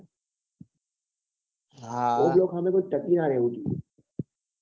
હા હા o block વાળા ની એટલે